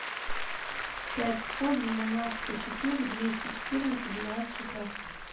пять сто девяносто четыре двести четырнадцать двенадцать шестнадцать